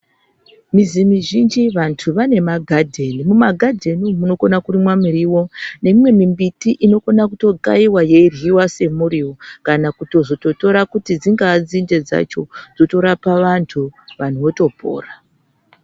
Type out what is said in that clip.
Muzi muzhinji vantu vane magadheni mumagadheni munokona kurimwa muriwo nemimwe mumbiti inokona kutokaiwa yeryiwa semuriwo kana kutozototora kuti dzingaa nzinde dzacho dzotorapa vantu vantu votopora.